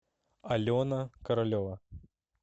алена королева